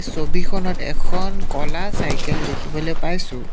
ছবিখনত এখন ক'লা চাইকেল দেখিবলৈ পাইছোঁ।